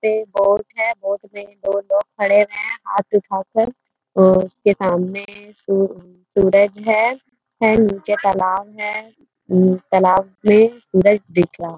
Boat है। Boat में दो लोग खड़े हुए हैं। हाथ उठाकर वो उसके सामने सू सूरज है है नीचे तालाब है । उम्म तालाब में सूरज दिख रहा --